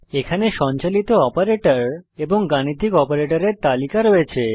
এখানে সঞ্চালিত অপারেটর এবং গাণিতিক অপারেটরের তালিকা রয়েছে